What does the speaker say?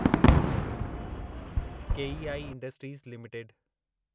KEI Industries limited